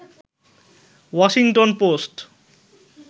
Washington post